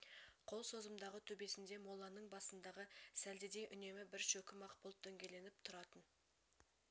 қол созымдағы төбесінде молланың басындағы сәлдедей үнемі бір шөкім ақ бұлт дөңгеленіп тұратын